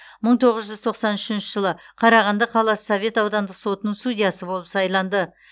мың тоғыз жүз тоқсан үшінші жылы қарағанды қаласы совет аудандық сотының судьясы болып сайланды